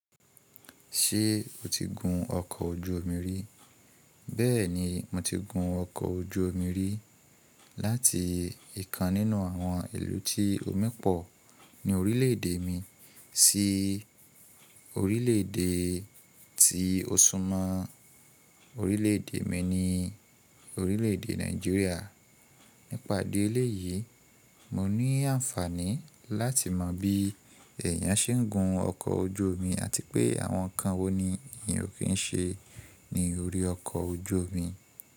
Ṣé o ti gun ọkọ̀ ojú omi rí? Bẹ́ẹ̀ni, mo ti gun ọkọ̀ ojú omi rí láti ìkan nínú àwọn ìlú tí omi pọ̀ ní orílè èdè mi sí orílè èdè tí ó súnmọ́ orílè èdè mi ni orílè èdè Nigeria. Nípa idi eleyìí, mo ní àǹfààní láti mọ bí eeyàn se n gun ọkọ̀ ojú omi àti pé àwọn nǹkan wo ni èèyàn ò kí n se ní orí ọkọ̀ ojú omi.